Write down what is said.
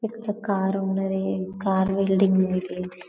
ఇక్కడ కార్ ఉన్నది. కార్ లో